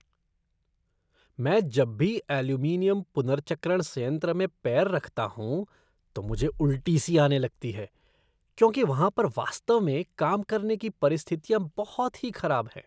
मैं जब भी एल्यूमीनियम पुनर्चक्रण संयंत्र में पैर रखता हूँ तो मुझे उल्टी सी आने लगती है क्योंकि वहाँ पर वास्तव में काम करने की परिस्थितियाँ बहुत ही खराब हैं।